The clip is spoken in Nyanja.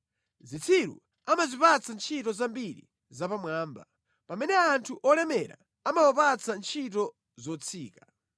Zitsiru amazipatsa ntchito zambiri zapamwamba, pamene anthu olemera amawapatsa ntchito zotsika.